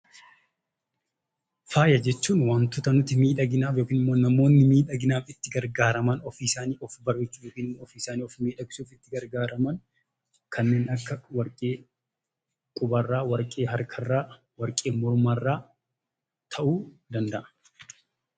Faaya jechuun wantoota nuti miidhaginaaf yookaan namoonni miidhaginaaf itti gargaaraman ofii isaanii jireenya isaanii miidhagsuuf itti gargaaraman kanneen akka warqee qubarraa, warqee harkarraa, warqee mormarraa ta'uu danda'a.